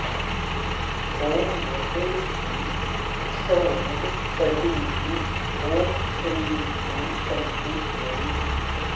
ॐ भटेशी ह्सौः कद्रूः ॐ क्रीं हूं कनकेश्वरी